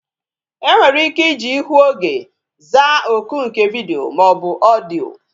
E nwere ike iji ihu oge zaa oku nke vidiyo maọbu odiyo